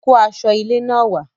Kó aṣọ ilé náà wàá